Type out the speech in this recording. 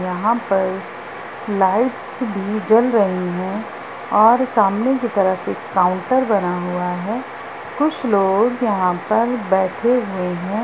यहाँ पर लाइट्स भी जल रही हैं और सामने कि तरफ एक काउंटर बना हुआ हैं कुछ लोग यहाँ पर बैठा हुए हैं।